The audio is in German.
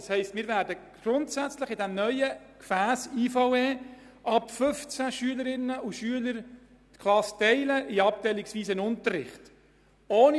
Das heisst, wir werden grundsätzlich in diesem neuen Gefäss IVE ab 15 Schülerinnen und Schülern die Klassen in abteilungsweisen Unterricht teilen.